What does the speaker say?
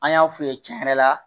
An y'a f'u ye cɛn yɛrɛ la